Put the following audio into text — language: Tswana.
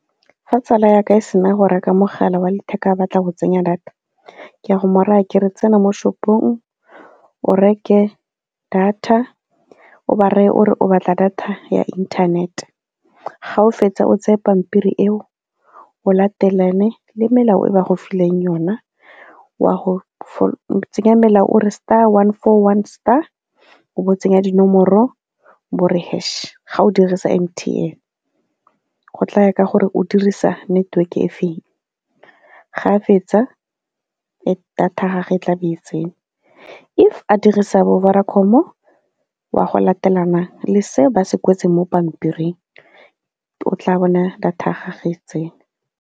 Fa tsala ya ka e se na go reka mogala wa letheka a batla go tsenya data ke a go mo raya ke re tsena mo shop-ong, o reke data, o ba reye o re o batla data ya internet. Ga o fetsa o tsaye pampiri eo o latelane le melao e ba go fileng yona, wa go tsenya melao o re star one four one star, o bo o tsenya dinomoro bo re hash ga o dirisa M_T_N. Go tla ya ka gore o dirisa network-e e feng. Ga a fetsa data gagwe tla be e tsene. If a dirisa bo-Vodacom-o, wa go latelana le se ba se kwetseng mo pampiring, o tla bona data ya gagwe tsene.